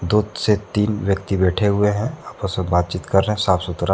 बहुत से तीन व्यक्ति बैठे हुए हैं आपस मे बात चित कर रहे हैं साफ सुथरा--